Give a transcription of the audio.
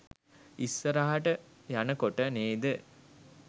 ඉස්සරහට යනකොට නේද